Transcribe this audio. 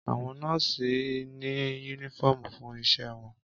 Àwọn nọ́ọ́sì ní únífọ̀omù fún iṣẹ wọn